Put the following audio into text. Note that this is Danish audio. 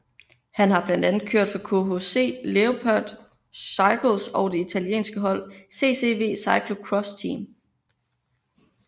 Han har blandt andet kørt for KCH Leopard Cycles og det italienske hold CCV Cyclo Cross Team